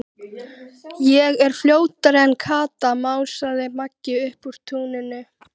Ég var fljótari en Kata, másaði Magga upp úr tunnunni.